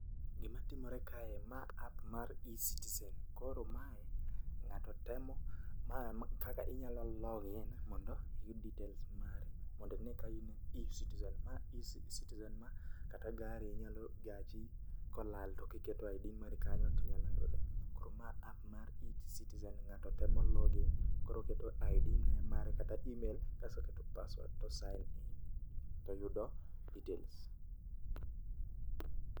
Gima timore kae, ma app mar e-Citizen. Koro mae ng'ato temo ma kaka inyalo log in mondo iyud details mari mondi ne ka in e-Citizen. Ma e-Citizen ma kata gari inyalo gachi kolal tiketo ID mari kanyo tinyalo yude. Koro ma app mar e-Citizen ng'ato tem log in. Koro oketo ID ne mare kata email kaso keto paswad to o sain in, toyudo details.